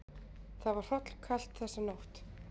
Það var hrollkalt þessa nótt.